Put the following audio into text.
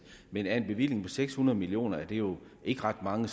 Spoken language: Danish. men af en bevilling på seks hundrede million kroner er det jo ikke ret mange